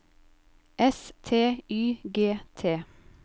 S T Y G T